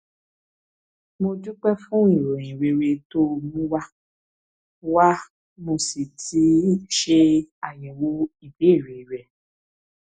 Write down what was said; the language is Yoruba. mo dúpẹ fún ìròyìn rere tó o mú wá wá mo sì ti ṣe àyẹwò ìbéèrè rẹ